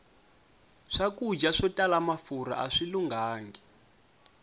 swakudya swo tala mafurha aswi lunghangi